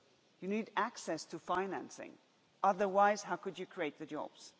You need access to financing, otherwise, how could you create the jobs.